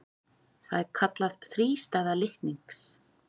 Það er kallað þrístæða litnings.